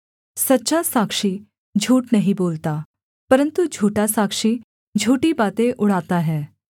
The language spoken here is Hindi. सच्चा साक्षी झूठ नहीं बोलता परन्तु झूठा साक्षी झूठी बातें उड़ाता है